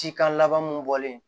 Cikan laban mun bɔlen